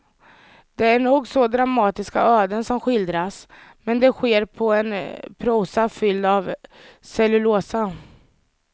Det är nog så dramatiska öden som skildras, men det sker på en prosa fylld av cellulosa.